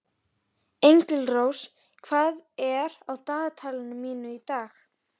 Engilrós, hvað er á dagatalinu mínu í dag?